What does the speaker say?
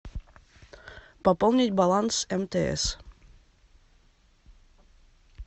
пополнить баланс мтс